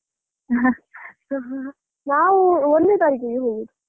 ನಾವು ಒಂದ್ನೇ ತಾರೀಕಿಗೆ ಹೋಗುದು.